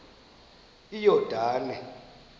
iyordane